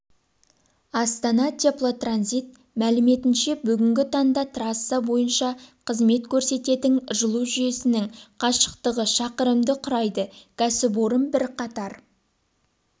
астана теплотранзит мәліметінше бүгінгі таңда трасса бойынша қызмет көрсететін жылу жүйесінің қашықтығы шақырымды құрайды кәсіпорын бірқатар